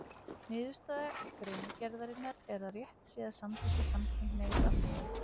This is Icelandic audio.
Niðurstaða greinargerðarinnar er að rétt sé að samþykkja samkynhneigð að fullu.